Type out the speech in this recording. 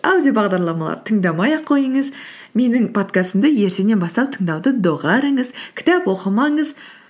аудиобағдарламалар тыңдамай ақ қойыңыз менің подкастымды ертеңнен бастап тыңдауды доғарыңыз кітап оқымаңыз